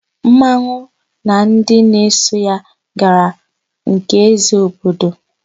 Mmanwụ na ndị na-eso ya gara na nke ézē obodo.